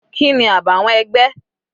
Kini àbàwọ́n ẹgbẹ́?